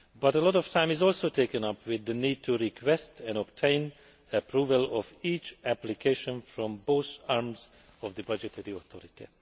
A lot of time is also taken up with the need to request and obtain approval for each application from both arms of the budgetary authority.